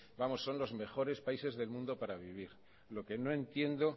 vamos son los mejores países del mundo para vivir lo que no entiendo